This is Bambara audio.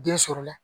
Den sɔrɔla